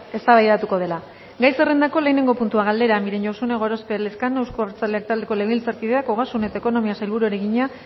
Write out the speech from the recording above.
eztabaidatuko dela gai zerrendako lehenengo puntua galdera miren josune gorospe elezkano euzko abertzaleak taldeko legebiltzarkideak ogasun eta ekonomiako sailburuari egina